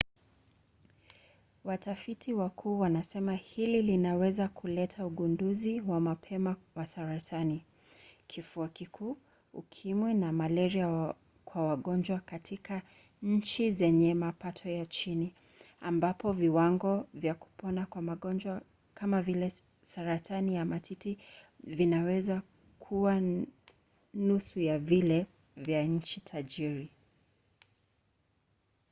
watafiti wakuu wanasema hili linaweza kuleta ugunduzi wa mapema wa saratani kifua kikuu ukimwi na malaria kwa wagonjwa katika nchi zenye mapato ya chini ambapo viwango vya kupona kwa magonjwa kama vile saratani ya matiti vinaweza kuwa nusu ya vile vya nchi tajiri